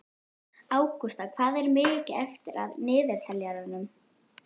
Ágústa, hvað er mikið eftir af niðurteljaranum?